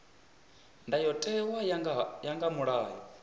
ndayotewa u ya nga mulayo